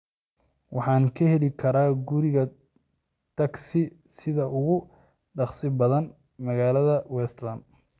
Waxa aan ka heli karaa guri tagsi sida ugu dhakhsaha badan magaalada westlands